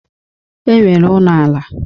E nwere ụnọ ala.